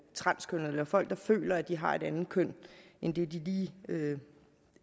transkønnede eller folk der føler at de har et andet køn end det de lige